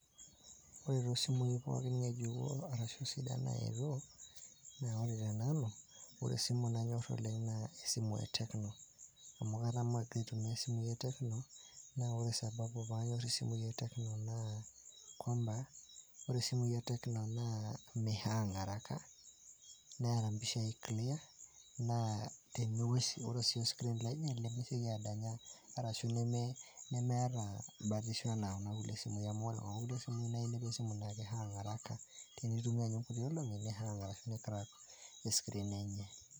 Ore too simui pookin ng'ejuko arashu sidan naetuuo, naa ore tenanu ore esimu nanyor oleng' naa esimu e tecno amu katamoo agira aitumia isimui e tecno naa ore sababu paanyor isimui e tecno naa kwamba, ore simui e tecno naa mihang araka, neeta mpisha clear. Naa teniwosh ore sii oscreen lenye lemesioki adanya arashu nemeeta batishu naa kuna kulie simui amu ore kuna kulie simui amu inepu esimu naake ihang araka tenintumia nye nkuti olong'i nicrack escreen enye.